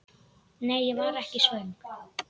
Nei, ég var ekki svöng.